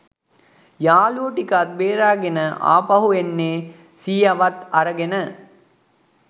යාළුවො ටිකත් බේරගෙන ආපහු එන්නෙ සීයවත් අරගෙන.